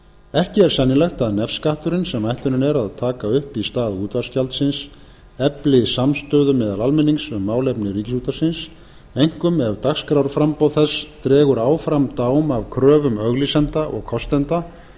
ekki er sennilegt að nefskatturinn sem ætlunin er að taka upp í stað útvarpsgjaldsins efli samstöðu meðal almennings um málefni ríkisútvarpsins einkum ef dagskrárframboð þess dregur áfram dám af kröfum auglýsenda og kostenda